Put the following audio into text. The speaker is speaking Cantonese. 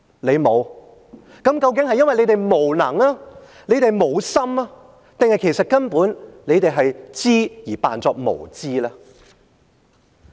你們沒有，究竟是因為你們無能、沒有心，還是根本你們知而假裝無知呢？